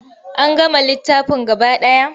An gama littafin gaba ɗaya.